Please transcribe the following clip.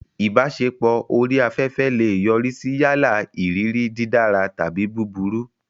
Ìbáṣepọ̀ orí afẹ́fẹ́ lè yọrí sí yálà ìrírí dídára tàbí búburú.